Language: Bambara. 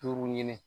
Duuru ɲini